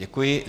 Děkuji.